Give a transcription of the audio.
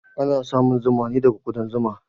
Ana samun zuma ne daga ƙudan zuma